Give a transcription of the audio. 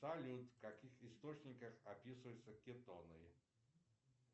салют в каких источниках описываются кетоны